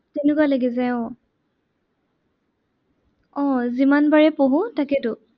তেনেকুৱা লাগি যায় আহ আহ যিমান বাৰেই পঢ়ো তাকেইতো।